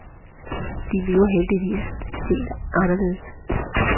De lever heldigvis helt anderledes.